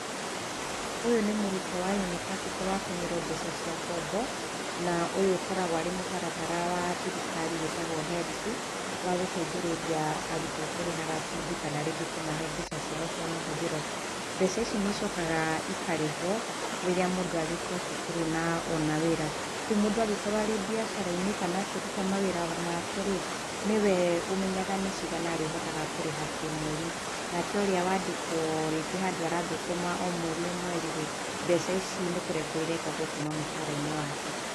Ũyũ nĩ mũrutwo wa unibacĩtĩ watũmĩrwo mbeca cia ngombo, na ũyũ ũkoragwo arĩ mũtarata wa thirikari wĩtagwo HELB, wa gũteithĩrĩria arutwo kũrĩhaga bithi kana rĩngĩ kũmahe mbeca ciao cia mahũthĩro. Mbeca ici nĩ icokaga ikarĩhwo rĩrĩa mũndũ arĩkĩa cukuru na ona wĩra. Rĩu mũndũ angĩkorwo arĩ mbiacara-inĩ kana akĩruta mawĩra make rĩ, nĩ we ũmenyaga nĩ cigana arĩ hotaga kũrĩha kĩmweri. Nake ũrĩa wandĩkwo, rĩngĩ handũ arathũkũma o mweri o mweri rĩ, mbeca ici nĩ kũrengwo irengagwo kuma mũcara-inĩ wake.